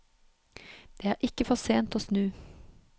Det er ikke for sent å snu.